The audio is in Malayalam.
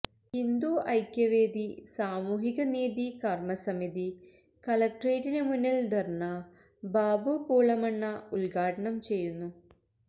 ഹിന്ദുഐക്യവേദി സാമൂഹികനീതി കർമസമിതി കളക്ടറേറ്റിന് മുന്നിൽ ധർണ ബാബു പൂളമണ്ണ ഉദ്ഘാടനംചെയ്യുന്നു